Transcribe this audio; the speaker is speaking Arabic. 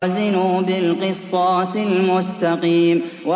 وَزِنُوا بِالْقِسْطَاسِ الْمُسْتَقِيمِ